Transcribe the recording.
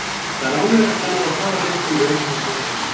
Það er ánægjulegt að ná að klára leikinn vel og halda hreinu.